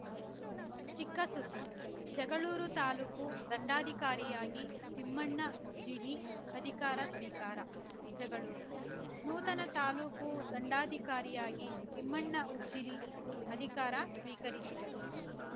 ಚಿಕ್ಕ ಸುದ್ದಿ ಜಗಳೂರು ತಾಲ್ಲುಕು ದಂಡಾಧಿಕಾರಿಯಾಗಿ ತಿಮ್ಮಣ್ಣ ಉಜ್ಜಿನಿ ಅಧಿಕಾರ ಸ್ವೀಕಾರ ಜಗಳೂರು ನೂತನ ತಾಲೂಕು ದಂಡಾಧಿಕಾರಿಯಾಗಿ ತಿಮ್ಮಣ್ಣ ಉಜ್ಜಿನಿ ಅಧಿಕಾರ ಸ್ವೀಕರಿಸಿದರು